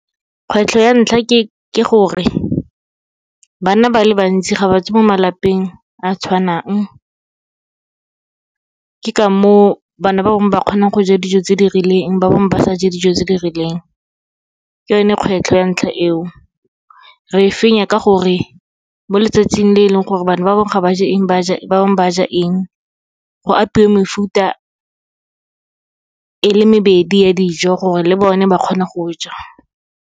Kgwetlho ya ntlha ke gore, bana ba le bantsi ga ba tswa mo malapeng a tshwanang, ke ka moo bana ba bangwe ba kgonang go ja dijo tse di rileng, ba bangwe ba sa je dijo tse di rileng, ke yone kgwetlho ya ntlha eo. Re fenya ka gore, mo letsatsing le leng gore bana ba bangwe ga ba je eng ba bangwe ba ja eng, go apeiwe mefuta e le mebedi ya dijo, gore le bone ba kgone go ja.